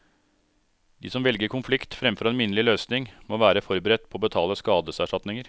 De som velger konflikt fremfor en minnelig løsning, må være forberedt på å betale skadeserstatninger.